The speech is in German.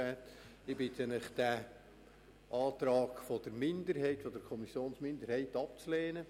Ich bitte Sie, den Antrag der Kommissionsminderheit abzulehnen.